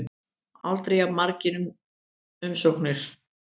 Aldrei jafn margar umsóknir